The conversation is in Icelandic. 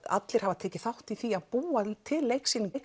allir hafa tekið þátt í því að búa til leiksýninguna